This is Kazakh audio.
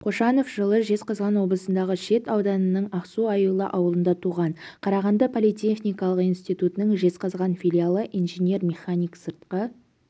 қошанов жылы жезқазған облысындағы шет ауданының ақсу-аюлы ауылында туған қарағанды политехникалық институтының жезқазған филиалын инженер-механик сыртқы